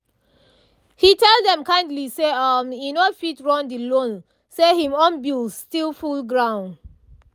he tell dem kindly say um e no fit run the loan say him own bills still full ground